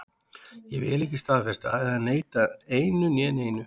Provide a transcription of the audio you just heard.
Ég vil ekki staðfesta eða neita einu né neinu.